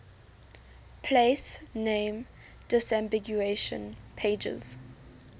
place name disambiguation pages